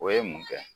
O ye mun kɛ